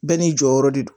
Bɛɛ n'i jɔyɔrɔ de don